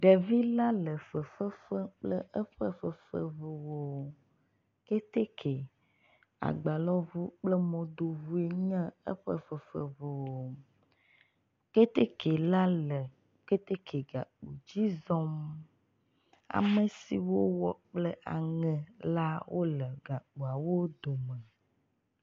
Ɖevila le fefefem kple eƒe fefeʋuwo kɛtɛkɛ agbalɔʋu kple mɔdoʋuwoe nye eƒe fefe ʋuwo kɛtɛkɛ la le kɛtɛkɛ gà dzi zɔm amesiwo wowɔ kple aŋe la le gakpoawo dome